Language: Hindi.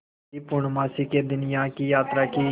यदि पूर्णमासी के दिन यहाँ की यात्रा की